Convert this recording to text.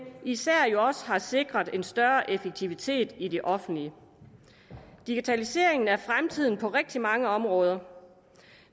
især også har sikret en større effektivitet i det offentlige digitalisering er fremtiden på rigtig mange områder